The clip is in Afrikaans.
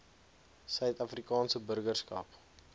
suid afrikaanse burgerskap